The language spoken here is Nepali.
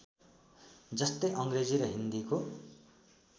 जस्तै अङ्ग्रेजी र हिन्दीको